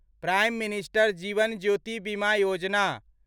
prime minister Jeevan Jyoti Bima Yojana